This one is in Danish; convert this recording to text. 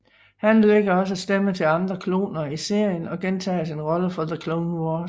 Han lægger også stemme til andre kloner i serien og gentager sin rolle fra The Clone Wars